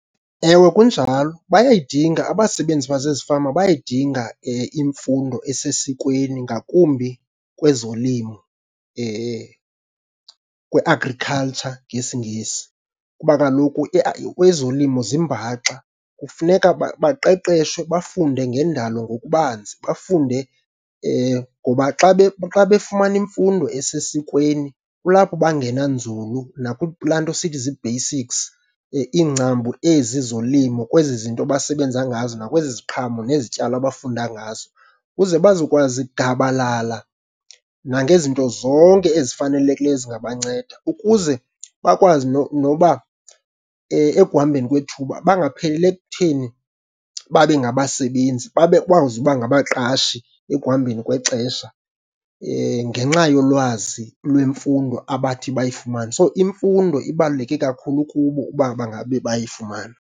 Ewe, kunjalo bayayidinga. Abasebenzi basezifama bayayidinga imfundo esesikweni ngakumbi kwezolimo, kwi-agriculture ngesingesi kuba kaloku kwezolimo zimbaxa. Kufuneka baqeqeshwe bafunde ngendalo ngokubanzi, bafunde ngoba xa xa befumana imfundo esesikweni, kulapho bangena nzulu nakulaa nto sithi zii-basics, iingcambu ezi zolimo kwezi zinto basebenza ngazo nakwezi ziqhamo nezityalo abafunda ngazo. Ukuze bazokwazi gabalala nangezinto zonke ezifanelekileyo ezingabanceda ukuze bakwazi noba ekuhambeni kwethuba, bangapheleli ekutheni babe ngabasebenzi. Babe bakwazi ukuba ngabaqashi ekuhambeni kwexesha ngenxa yolwazi lwemfundo abathi bayifumane. So imfundo ibaluleke kakhulu kubo uba bangabe bayifumane.